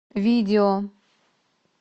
видео